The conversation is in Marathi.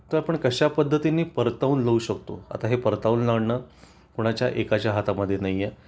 तर आपण कशा पद्धतीने परतवून लावू शकतो आता हे परतवून लावणं कोणाच्या एकाच्या हातामध्ये नाहीए